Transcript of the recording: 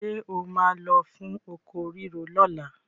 Ṣé o máa lọ fún oko rírò lọ́la?